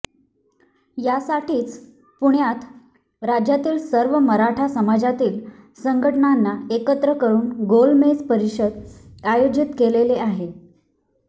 यासाठीच पुण्यात राज्यातील सर्व मराठा समाजातील संघटनांना एकत्र करून गोलमेज परिषद आयोजित केलेली आहे